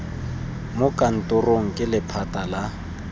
mo kantorong ke lephata la